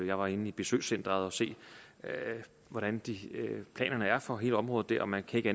jeg var inde i besøgscenteret at se hvordan planerne er for hele området og man kan ikke